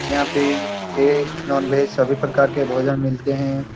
यहाँ पे veg non veg सभी प्रकार के भोजन मिलते हैं ।